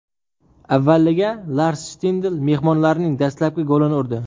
Avvaliga Lars Shtindl mehmonlarning dastlabki golini urdi.